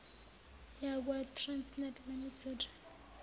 yakwa trasnet limited